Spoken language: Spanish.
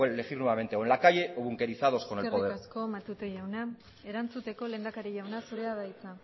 elegir nuevamente o en la calle o bunquerizados con el poder eskerrik asko matute jauna erantzuteko lehendakari jauna zurea da hitza